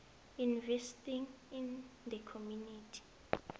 investing in the community